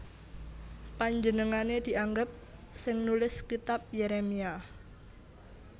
Panjenengané dianggep sing nulis Kitab Yérémia